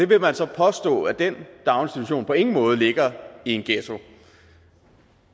vil man så påstå at den daginstitution på ingen måde ligger i en ghetto